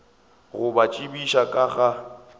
go ba tsebiša ka ga